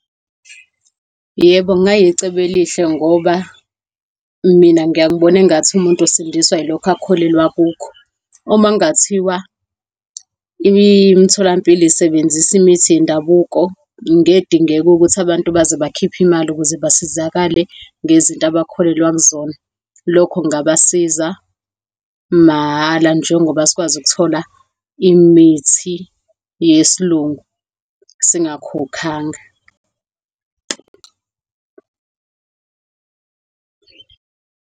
Yebo, kungayicebo elihle ngoba mina ngiyaye ngibone engathi umuntu usindiswa ilokho akholelwe kukho. Uma kungathiwa imitholampilo isebenzisa imithi yendabuko, ngeke kudingakale ukuthi abantu baze bakhiphe imali ukuze basizakale ngezinto abakholelwa kuzona. Lokho kungabasiza mahhala, njengoba sikwazi ukuthola imithi yesiLungu singakhokhanga.